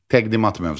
Təqdimat mövzuları.